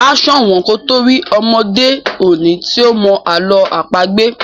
a so wón kò to rí ọmọde òde òni tí o mọ àlọ́ àpagbè.